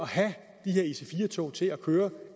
have de der ic4 tog til at køre